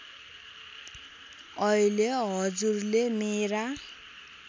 अहिले हजुरले मेरा